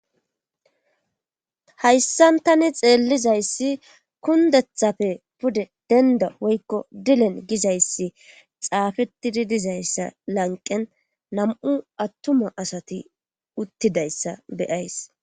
hayssan tani xeellizayssi kundethapfe pude dendo woykko dilen gizayssi xaafettidi dizayssa lanqen nam7u attuma asati uttidayssa beyays